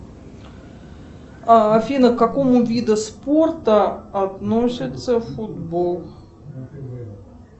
афина к какому виду спорта относится футбол